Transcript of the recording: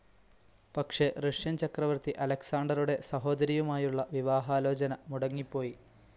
പക്ഷെ റഷ്യൻ ചക്രവർത്തി അലക്‌സാണ്ടറുടെ സഹോദരിയുമായുള്ള വിവാഹാലോചന മുടങ്ങിപ്പോയി,.